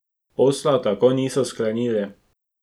Posla tako niso sklenili.